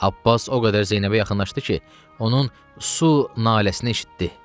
Abbas o qədər Zeynəbə yaxınlaşdı ki, onun su naləsini eşitdi.